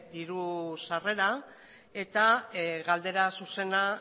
diru sarrera eta galdera zuzena